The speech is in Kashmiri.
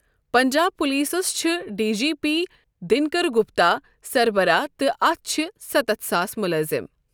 پنجاب پلیسس چھ D G P, Dinkar Gupta سربراہ تہٕ اتھ چھِ ستتھ ساس ملٲزم ۔